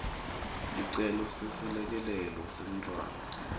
sicelo seselekelelo semntfwana